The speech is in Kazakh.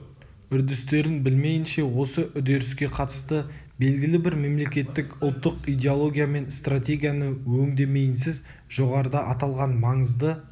үрдістерін білмейінше осы үдеріске қатысты белгілі бір мемлекеттік-ұлттық идеология мен стратегияны өңдемейінсіз жоғарыда аталған маңызды